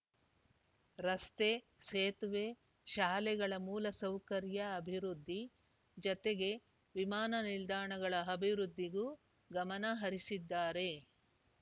ರಸ್ತೆ ಸೇತುವೆ ಶಾಲೆಗಳ ಮೂಲ ಸೌಕರ್ಯ ಅಭಿವೃದ್ಧಿ ಜತೆಗೆ ವಿಮಾನ ನಿಲ್ದಾಣಗಳ ಅಭಿವೃದ್ಧಿಗೂ ಗಮನ ಹರಿಸಿದ್ದಾರೆ